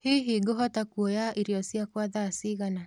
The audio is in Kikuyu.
hĩhĩ nguhota kũoya ĩrĩo cĩakwa thaa cĩĩgana